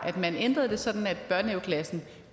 at man ændrede det sådan at børnehaveklassen